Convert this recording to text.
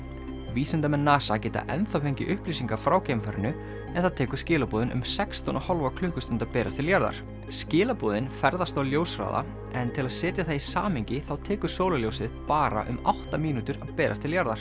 vísindamenn NASA geta enn þá fengið upplýsingar frá geimfarinu en það tekur skilaboðin um sextán og hálfa klukkustund að berast til jarðar skilaboðin ferðast á ljóshraða en til að setja það í samhengi þá tekur sólarljósið bara um átta mínútur að berast til jarðar